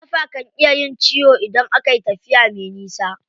Ƙafa kan iya yin ciwo idan akayi tafiya me nisa.